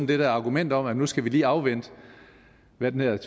det der argument om at nu skal vi lige afvente hvad den her